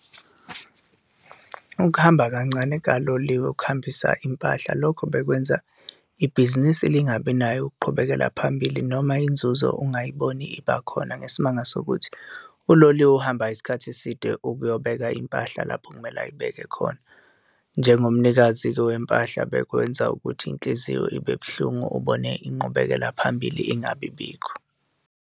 Ukuhamba kancane kukaloliwe ukuhambisa impahla, lokho bekwenza ibhizinisi lingabi nayo ukuqhubekela phambili noma inzuzo ungayiboni iba khona ngesimanga sokuthi uloliwe, uhamba isikhathi eside ukuyobeka impahla lapho okumele ayibeke khona. Njengomnikazi-ke wempahla, bekwenza ukuthi inhliziyo ibe buhlungu ubone inqubekela phambili ingabi bikho.